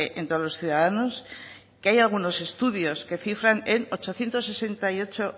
en todos los ciudadanos que hay algunos estudios que cifran en ochocientos sesenta y ocho